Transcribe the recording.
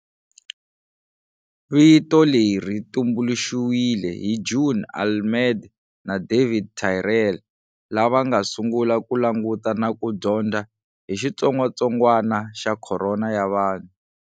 Vito leri tumbuluxiwile hi June Almeida na David Tyrrell lava nga sungula ku languta na ku dyondza hi xitsongatsongwana xa khorona ya vanhu.